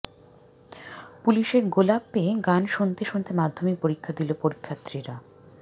পুলিশের গোলাপ পেয়ে গান শুনতে শুনতে মাধ্যমিক পরীক্ষা দিল পরীক্ষার্থীরা